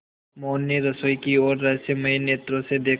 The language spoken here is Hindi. मोहन ने रसोई की ओर रहस्यमय नेत्रों से देखा